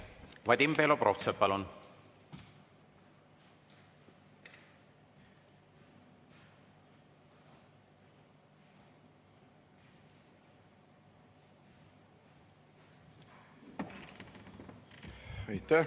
Vadim Belobrovtsev, palun!